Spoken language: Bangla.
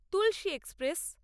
তুলসী এক্সপ্রেস